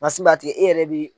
Masin b'a tigɛ i yɛrɛ bi